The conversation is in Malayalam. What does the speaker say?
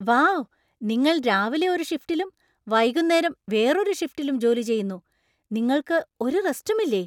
വൗ! നിങ്ങൾ രാവിലെ ഒരു ഷിഫ്റ്റിലും വൈകുന്നേരം വേറൊരു ഷിഫ്റ്റിലും ജോലി ചെയ്യുന്നു! നിങ്ങൾക്ക് ഒരു റെസ്റ്റും ഇല്ലേ ?